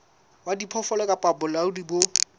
wa diphoofolo kapa bolaodi bo